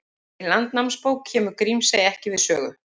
Í Landnámabók kemur Grímsey ekki við sögu.